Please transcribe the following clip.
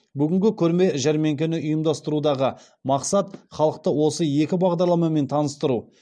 бүгінгі көрме жәрмеңкені ұйымдастырудағы мақсат халықты осы екі бағдарламамен таныстыру